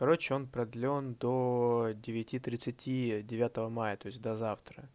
короче он продлён до девяти тридцати девятого мая то есть до завтра